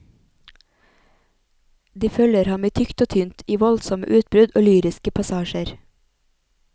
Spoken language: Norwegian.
De følger ham i tykt og tynt, i voldsomme utbrudd og lyriske passasjer.